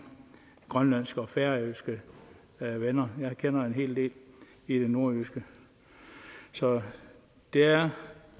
grønlandske og færøske venner jeg kender en hel del i det nordjyske så der er